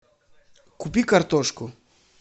купи картошку